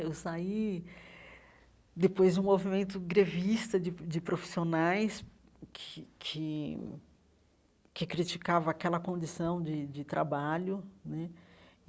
Eu saí depois de um movimento grevista de de profissionais que que que criticava aquela condição de de trabalho né.